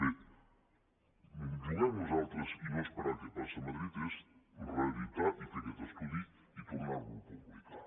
bé jugar nosaltres i no esperar què passa a madrid és reeditar i fer aquest estudi i tornar lo a publicar